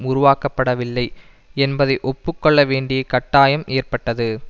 உருவாக்கப்பட வில்லை என்பதை ஒப்பு கொள்ள வேண்டிய கட்டாயம் ஏற்பட்டது